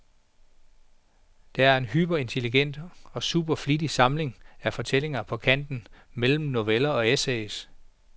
Den er en hyperintelligent og supervittig samling af fortællinger på kanten mellem noveller og essays.